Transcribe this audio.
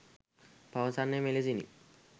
පවසන්නේ මෙලෙසිනි